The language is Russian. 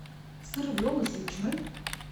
сыр виола с ветчиной